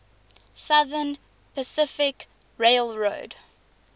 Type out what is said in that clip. southern pacific railroad